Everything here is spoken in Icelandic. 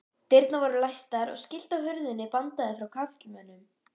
Dyrnar voru læstar og skilti á hurðinni bandaði frá karlmönnum.